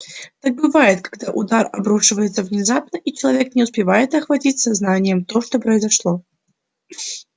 так бывает когда удар обрушивается внезапно и человек не успевает охватить сознанием то что произошло